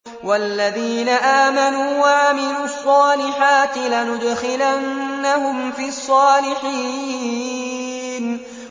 وَالَّذِينَ آمَنُوا وَعَمِلُوا الصَّالِحَاتِ لَنُدْخِلَنَّهُمْ فِي الصَّالِحِينَ